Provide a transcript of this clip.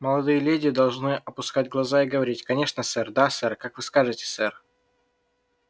молодые леди должны опускать глаза и говорить конечно сэр да сэр как вы скажете сэр